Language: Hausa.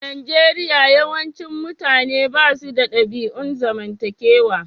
A Nijeriya, yawancin mutane ba su da ɗabi'un zamantakewa.